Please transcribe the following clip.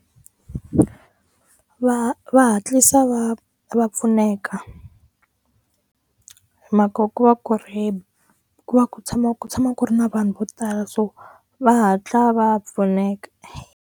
Va va hatlisa va va pfuneka makoko wa ku va ku tshama ku tshama ku ri na vanhu vo tala so va hatla va pfuneka.